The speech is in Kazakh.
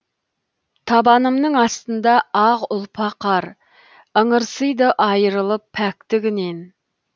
табанымның астында ақ ұлпа қар ыңырсыйды айырылып пәктігінен